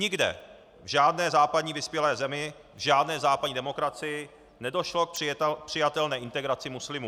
Nikde, v žádné západní vyspělé zemi, v žádné západní demokracii nedošlo k přijatelné integraci muslimů.